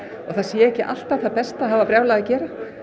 að það sé ekki alltaf það besta að hafa brjálað að gera